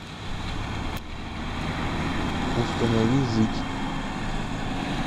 установи жить